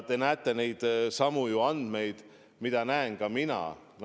Te näete ju neidsamu nakatunute andmeid, mida näen mina.